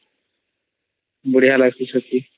ବଢ଼ିଆ ଲାଗୁଚେ ଛତି